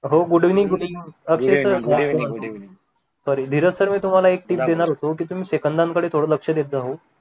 हो good evening good evening sorry Dheeraj sir मी तुम्हाला एक टीप देणार होतो की तुम्ही सेकंदांकडे थोडं लक्ष देत जा हो